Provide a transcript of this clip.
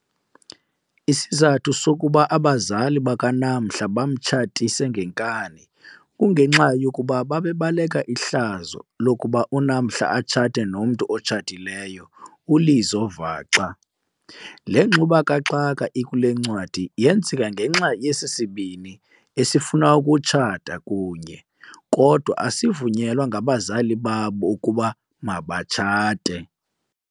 Isizathu sokuba abazali baka Namhla bamtshatise ngenkani kungenxa yokuba babebaleka ihlazo lokuba uNamhla atshate nomntu otshatileyo, uLizo vaxa. Le ngxube kaxaka ikulencwadi yenzeka ngenxa yesi sibini esifuna ukutshata kunye kodwa asivunyelwa ngabazali babo ukuba mabatshate.